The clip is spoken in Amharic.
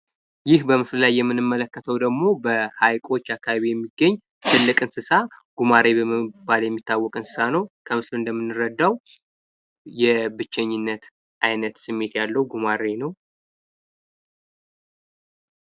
ይህ በምስሉ ላይ የምንመልከተው ደግሞ በሀይቆች አካባቢ የሚገኝ ጉማሬ በመባል የሚታዎቅ እንሰሳ ነው። ከምስሉ እንደምንረዳው የብቸኝነት አይነት ስሜት ያለው ጉማሬ ነው።